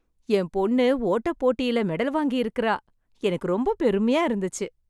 என் பொண்ணு ஓட்ட போட்டியில் மெடல் வாங்கி இருக்கிறாள். எனக்கு ரொம்ப பெருமையா இருந்துச்சு.